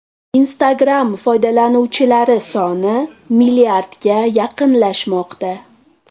Instagram foydalanuvchilari soni milliardga yaqinlashmoqda.